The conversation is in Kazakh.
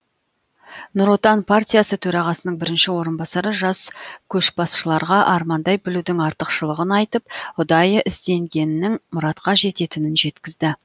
нұр отан партиясы төрағасының бірінші орынбасары жас көшбасшыларға армандай білудің артықшылығын айтып ұдайы ізденгеннің мұратқа жететінін жеткізді